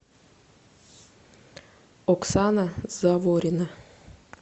оксана заворина